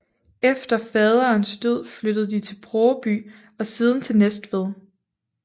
Efter faderens død flyttede de til Bråby og siden til Næstved